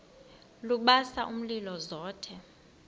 lubasa umlilo zothe